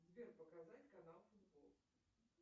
сбер показать канал футбол